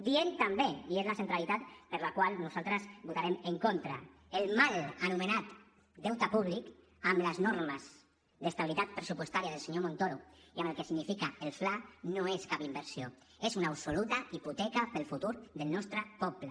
diem també i és la centralitat per la qual nosaltres hi votarem en contra el mal anomenat deute públic amb les normes d’estabilitat pressupostària del senyor montoro i amb el que significa el fla no és cap inversió és una absoluta hipoteca pel futur del nostre poble